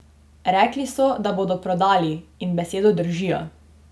Rekli so, da bodo prodali, in besedo držijo!